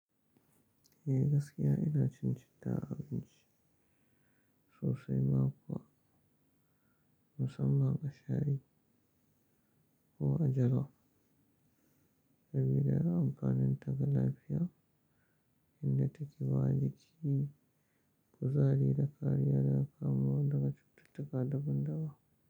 Eh gaskiya ina cin citta a abinci sosai ma kuwa musamman a shayi ko a jalof, sabida yawan amfaninta ga lafiya inda take bawa jiki, kuzari da kariya daga kamuwa daga cututtuka daban-daban.